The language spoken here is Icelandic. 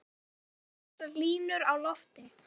Ég gríp þessar línur á lofti.